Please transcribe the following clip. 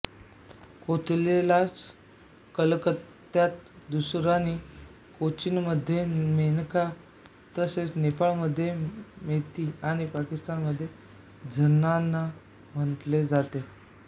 कोथीलाच कलकत्यात दुरानी कोचिनमध्ये मेनाका तसेच नेपाळमध्ये मेती आणि पाकिस्तानमध्ये झनाना म्हणले जाते